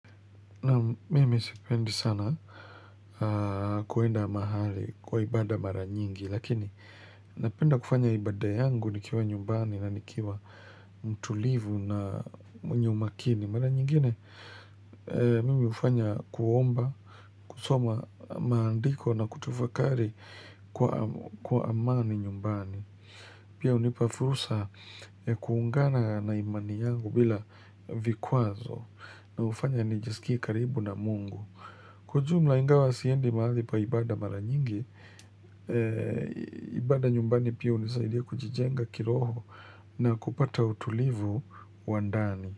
Na mimi isipendi sana kuenda mahali kwa ibada mara nyingi, lakini napenda kufanya ibada yangu nikiwa nyumbani na nikiwa mtulivu na mnyumakini. Mara nyingine mimi ufanya kuomba, kusoma maandiko na kutufakari kwa amani nyumbani. Pia unipa fursa ya kuungana na imani yangu bila vikwazo na ufanya nijisikia karibu na mungu. Kwa jumla ingawa siendi mahali pa ibada mara nyingi, ibada nyumbani pia unisaidia kujijenga kiroho na kupata utulivu wa ndani.